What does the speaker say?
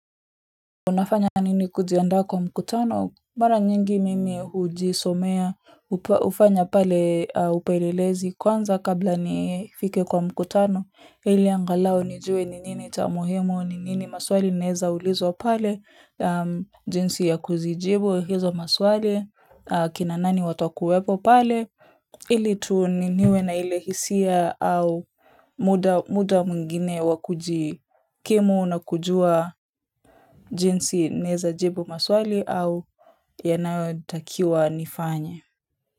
Unafanya nini kujiandaa kwa mkutano mara nyingi mimi hujisomea hufanya pale upelelezi kwanza kabla nifike kwa mkutano ili angalau nijue ni nini cha muhimo ni nini maswali naezaulizwa pale jinsi ya kuzijibu hizo maswali kina nani watakuwepo pale ili tuniniwe na ile hisia au muda muda mwingine wa kujikimu na kujua jinsi naezajibu maswali au yanayotakiwa nifanye.